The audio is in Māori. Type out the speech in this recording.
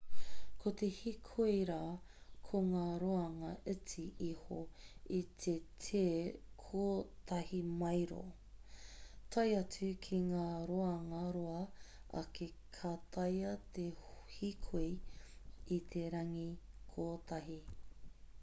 ko te hīkoi rā ko ngā roanga iti iho i te te kotahi māero tae atu ki ngā roanga roa ake ka taea te hīkoi i te rangi kotahi